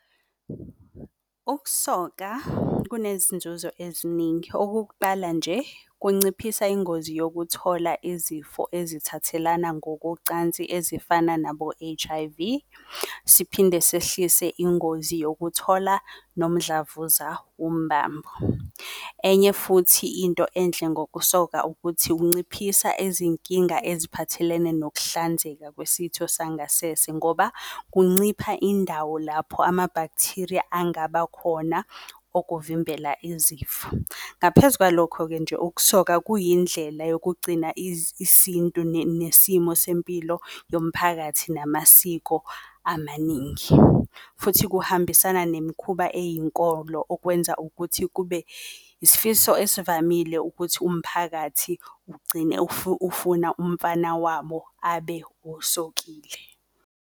Ukusoka kunezinzuzo eziningi, okokuqala nje kunciphisa ingozi yokuthola izifo ezithathelana ngokocansi ezifana nabo-H_I_V, siphinde sehlise ingozi yokuthola nomdlavuza wombambo. Enye futhi into enhle ngokusoka ukuthi kunciphisa izinkinga eziphathelene nokuhlanzeka kwesitho sangasese ngoba, kuncipha indawo lapho ama-bacteria angaba khona ukuvimbela izifo. Ngaphezu kwalokho-ke nje, ukusoka kuyindlela yokugcina isintu nesimo sempilo yomphakathi namasiko amaningi. Futhi kuhambisana nemikhuba eyinkolo ukwenza ukuthi kube isifiso ezivamile ukuthi umphakathi ugcine ufuna umfana wabo abe osokile.